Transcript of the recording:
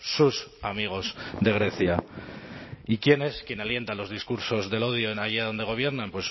sus amigos de grecia y quién es quien alienta los discursos del odio allá donde gobiernan